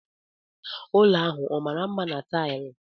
Ụlọ ahụ ọ mara mma na taịlị?